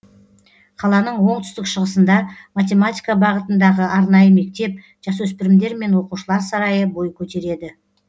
қаланың оңтүстік шығысында математика бағытындағы арнайы мектеп жасөспірімдер мен оқушылар сарайы бой көтереді